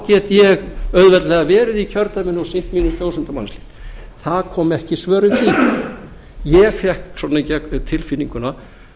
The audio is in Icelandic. get ég auðveldlega verið í kjördæminu og sinnt mínum kjósendum það komu ekki svör við því ég fékk svona á tilfinninguna